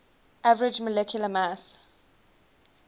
average molecular mass